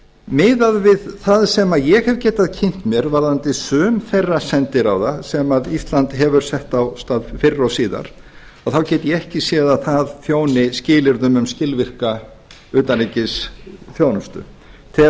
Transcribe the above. miðað við það sem ég hef getað kynnt mér varðandi sum þeirra sendiráða sem ísland hefur sett af stað fyrr og síðar þá get ég ekki séð að það þjóni skilyrðunum um skilvirka utanríkisþjónustu tel